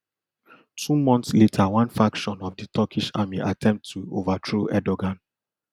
two months later one faction faction of di turkish army attempt to overthrow erdogan